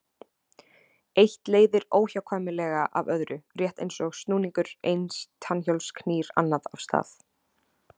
Eitt leiðir óhjákvæmilega af öðru, rétt eins og snúningur eins tannhjóls knýr annað af stað.